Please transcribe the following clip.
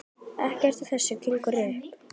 Ekkert af þessu gengur upp.